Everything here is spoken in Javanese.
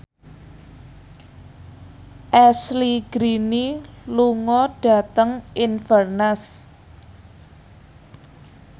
Ashley Greene lunga dhateng Inverness